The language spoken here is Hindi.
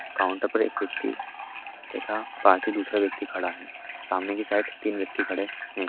काउंटर पर एक व्यक्ति तथा ख़ासी दूसरे व्यक्ति खड़ा है सामने की साइड तीन व्यक्ति खड़े है।